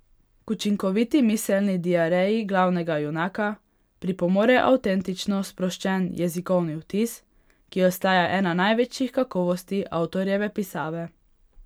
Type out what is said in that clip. K učinkoviti miselni diareji glavnega junaka pripomore avtentično sproščen jezikovni vtis, ki ostaja ena največjih kakovosti avtorjeve pisave.